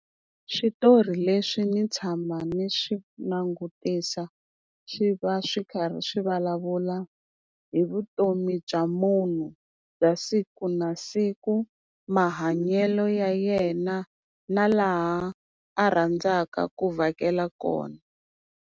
Switori leswi ni tshama ni swi langutisa swi va swi karhi swi vulavula hi vutomi bya munhu bya siku na siku, mahanyelo ya yena na laha a rhandzaka ku vhakela kona.